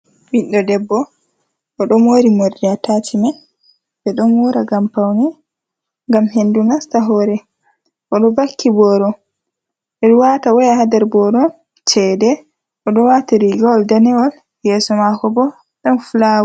Ɓiɗɗo debbo oɗo mori morɗi ataci'men, ɓeɗon mora ngam paune, ngam hendu nasta hore. oɗo vakki boro, ɓeɗo wata waya ha nder boro cede, oɗo wati rigowol danewol yeso mako bo ɗon fulawa.